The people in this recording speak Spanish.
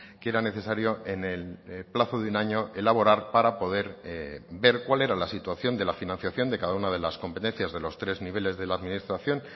que era necesario en el plazo de un año elaborar para poder ver cuál era la situación de la financiación de cada una de las competencias de los tres niveles de la administración